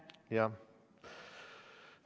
Jah.